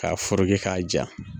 K'a ferekɛ k'a ja